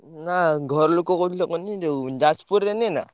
ନା ଘରଲୋକ କହୁଥିଲେ କୁହନି ଯୋଉ ~ଯାଜ ~ପୁରରେ ନିଏନା।